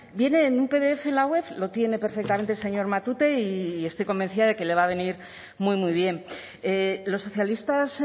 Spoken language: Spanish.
viene en un pdf en la web lo tiene perfectamente el señor matute y estoy convencida de que le va a venir muy muy bien los socialistas